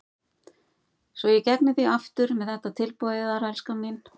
Svo ég gegni því aftur með þetta tilboð yðar, elskan mín.